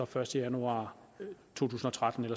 første januar to tusind og tretten